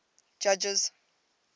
judges